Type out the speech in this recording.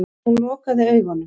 Hún lokaði augunum.